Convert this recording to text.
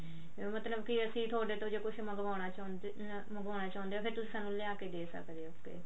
ਮਤਲਬ ਕੀ ਅਸੀਂ ਥੋਡੇ ਤੋਂ ਕੁਛ ਮੰਗਵਾਉਣਾ ਚਾਹੁੰਦੇ ਹਾਂ ਮੰਗਵਾਉਣਾ ਚਾਹੁੰਦੇ ਹੋ ਫ਼ੇਰ ਤੁਸੀਂ ਸਾਨੂੰ ਲਿਆ ਕਿ ਦੇ ਸਕਦੇ ਹੋ